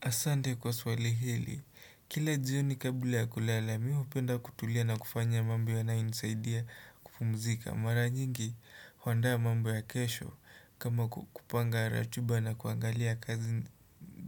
Asante kwa swali hili, kila jioni kabla ya kulala, mi hupenda kutulia na kufanya mambo yanayonisaidia kupumzika, mara nyingi huandaa mambo ya kesho kama kupanga ratiba na kuangalia kazi